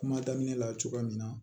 Kuma daminɛ la cogoya min na